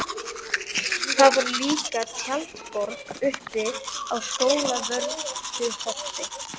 Það var líka tjaldborg uppi á Skólavörðuholti.